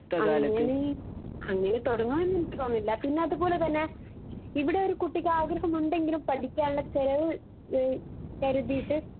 അങ്ങനെ അങ്ങനെ തൊടങ്ങുമെന്ന് എനിക്ക് തോന്നുന്നില്ല പിന്നെ അത് പോലെ തന്നെ ഇവിടൊരു കുട്ടിക്ക് ആഗ്രഹമുണ്ടെങ്കിലും പഠിക്കാനുള്ള ചെലവ് ഏഹ് കരുതീട്ട്